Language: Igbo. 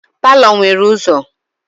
Palọ nwere ụzọ.